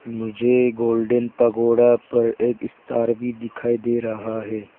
मुझे golden pagoda पर एक सितार भी दिखाई दे रहा है।